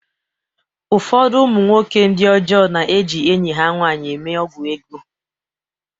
Ụfọdụ ụmụ nwoke ndi ọjọọ na-eji enyi ha nwanyị eme ọgwụ ego.